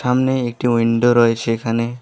সামনে একটি উইনডো রয়েছে এখানে।